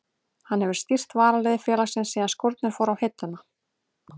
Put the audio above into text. Hann hefur stýrt varaliði félagsins síðan skórnir fóru á hilluna.